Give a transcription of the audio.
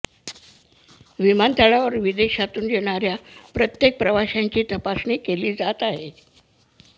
विमानतळावर विदेशातून येणाऱ्या प्रत्येक प्रवाशाची तपासणी केली जात आहे